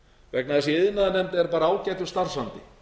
vegna þess að í iðnaðarnefnd er bara ágætur starfsandi